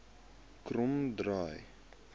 kromdraai